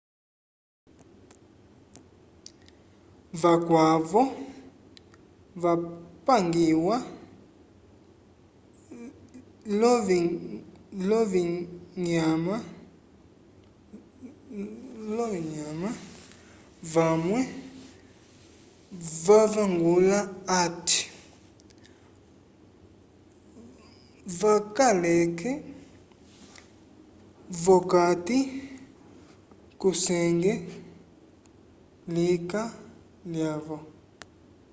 vakwavo vapangiwa l'ovinyama vamwe vavangula hati vakaleke v'okati kusenge lika lyavo